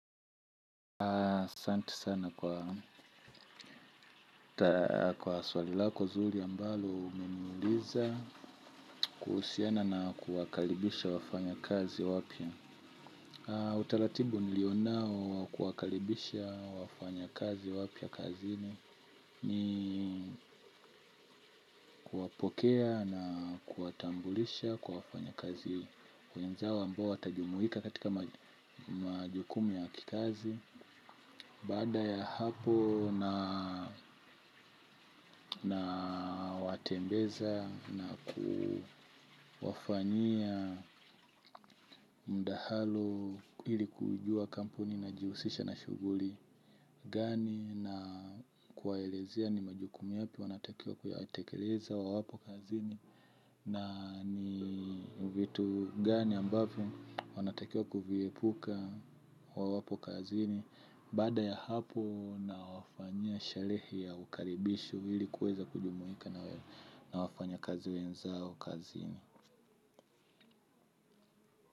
Asante sana kwa swali lako zuri ambalo umeniuliza kuhusiana na kuwakaribisha wafanya kazi wapya. Utaratibu nilio nao wa kuwakaribisha wafanya kazi wapya kazini. Ni kuwapokea na kuwatambulisha kwa wafanya kazi wenzao ambao watajumuika katika majukumu ya kikazi. Baada ya hapo nawatembeza na kuwafanyia mdahalo ili kujua kampuni inajiusisha na shughuli gani na kuwaelezea ni majukumu yapi wanatakiwa kuyatekeleza wawapo kazini. Na ni vitu gani ambavyo wanatakiwa kuviepuka wawapo kazini. Baada ya hapo nawafanyia sherehe ya ukaribisho ili kuweza kujumuika na na wafanya kazi wenzao kazini.